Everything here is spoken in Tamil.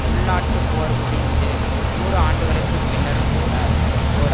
உள்நாட்டுப் போர் முடிந்து நூறு ஆண்டுகளுக்கு பின்னரும்கூட ஓர்